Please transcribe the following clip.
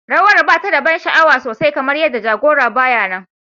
Rawar ba ta da ban sha'awa sosai kamar yadda jagora ba ya nan.